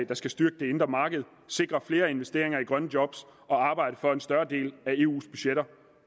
der skal styrke det indre marked sikre flere investeringer i grønne job og arbejde for at en større del af eus budgetter